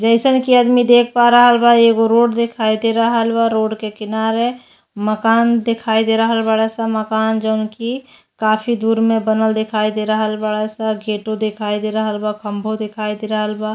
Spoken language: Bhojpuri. जइसन कि आदमी देख पा रहल बा एगो रोड देखाई दे रहल बा। रोड के किनारे मकान देखाई दे रहल बाड़ स। मकान जोन कि काफी दूर में बनल देखाई दे रहल बाड़ स। गेटो देखाई दे रहल बा। खम्भो देखाई दे रहल बा।